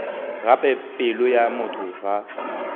gape pelo ya motho ga